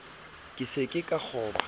ke se ke ka kgoba